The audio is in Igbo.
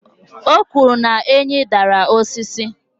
o kwuru na enyí dara osisi